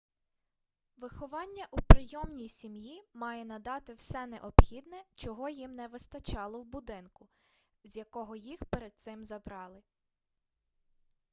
виховання у прийомній сім'ї має надати все необхідне чого їм не вистачало у будинку з якого їх перед цим забрали